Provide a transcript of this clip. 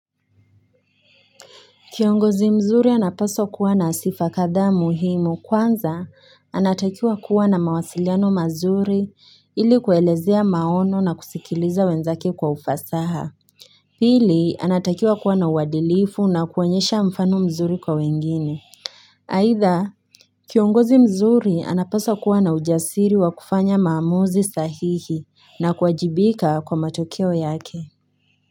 Kiongozi mzuri anapaswa kuwa na sifa kadhaa muhimu kwanza anatakiwa kuwa na mawasiliano mazuri ili kuelezea maono na kusikiliza wenzake kwa ufasaha. Pili anatakiwa kuwa na uwadilifu na kuwanyesha mfano mzuri kwa wengine. Haitha kiongozi mzuri anapaswa kuwa na ujasiri wa kufanya maamuzi sahihi na kuajibika kwa matokeo yake.